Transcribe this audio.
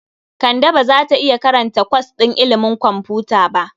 Kande ba za ta iya karanta kwas ɗin ilimin kwamfuta ba.